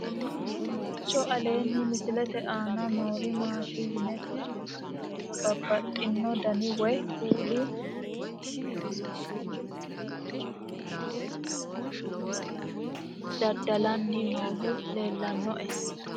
kowiicho aleenni misilete aana noori maati yine titire kulliro babaxino dani woy kuuli nooti biiffanno misile leeltanni nooe anera tino manchu dada'lanni noohu leellannoe